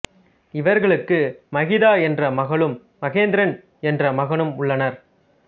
இவர்களுக்கு மகிதா என்ற மகளும் மகேந்திரன் என்ற மகனும் உள்ளனர்